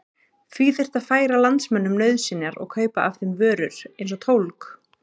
Því þyrfti að færa landsmönnum nauðsynjar og kaupa af þeim vörur eins og tólg.